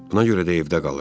Buna görə də evdə qalır.